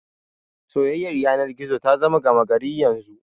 Soyayyar yanar gizo ta zama gama gari yanzu.